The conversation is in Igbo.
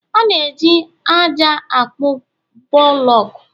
A na-eji ájá akpo buloku